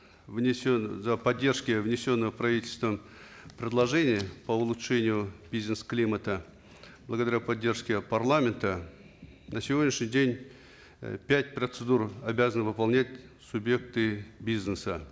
поддержки внесенных правительством предложений по улучшению бизнес климата благодаря поддержке парламента на сегодняшний день э пять процедур обязаны выполнять субъекты бизнеса